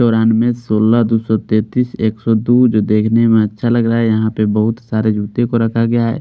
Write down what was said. चौरानवे सोलह दो सौ तैतीस एक सौ दो जो देखने में अच्छा लग रहा है यहां पे बहुत सारे जूते को रखा गया है।